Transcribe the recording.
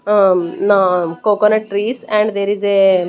um coconut trees and there is a --